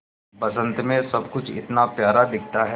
बसंत मे सब कुछ इतना प्यारा दिखता है